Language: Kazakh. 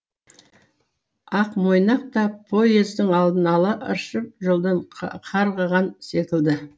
ақмойнақ та поездың алдын ала ыршып жолдан қарғыған секілді